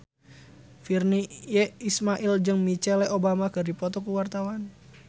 Virnie Ismail jeung Michelle Obama keur dipoto ku wartawan